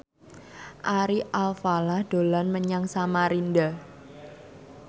Ari Alfalah dolan menyang Samarinda